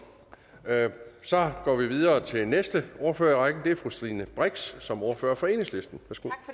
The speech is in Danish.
så går vi videre til den næste ordfører i rækken og det er fru stine brix som ordfører for enhedslisten